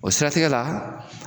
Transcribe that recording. O siratigɛ la